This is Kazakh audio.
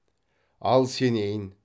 ал сенейін